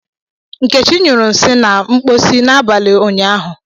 Nkechi nyuru nsi na mposi n'abalị ụnyaahụ.